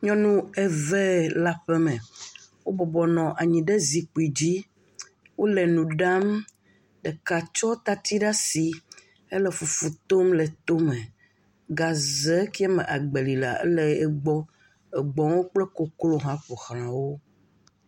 Nyɔnu eve le aƒe me. Wobɔbɔnɔ anyi ɖe zikpui dzi. Wole nu ɖam ɖeka tsɔ tati ɖe asi hele fufu tom le to me. Gaze ke me agbeli lea ele egbɔ. Egbɔwo kple koklo hã ƒoxla wo.